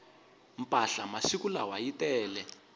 mpahla masiku lawa yi tele